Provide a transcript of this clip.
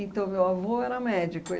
Então, meu avô era médico.